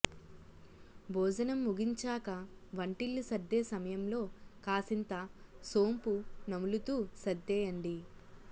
భోజనం ముగించాక వంటిల్లు సర్దే సమయంలో కాసింత సోంపు నములుతూ సర్దేయండి